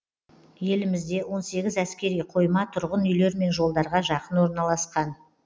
елімізде он сегіз әскери қойма тұрғын үйлер мен жолдарға жақын орналасқан